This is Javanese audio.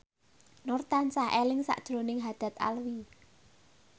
Nur tansah eling sakjroning Haddad Alwi